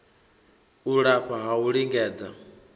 u lafha ha u lingedza